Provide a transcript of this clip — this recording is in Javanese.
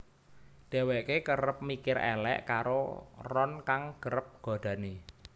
Dheweke kerep mikir elek karo Ron kang kerep godani